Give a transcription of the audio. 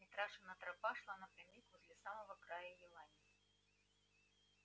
митрашина тропа шла напрямик возле самого края елани